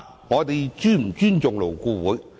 我們是否尊重勞顧會？